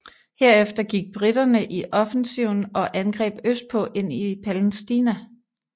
Herefter gik briterne i offensiven og angreb østpå ind i Palæstina